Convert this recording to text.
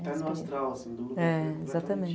Até no astral, sem dúvida, é, exatamente.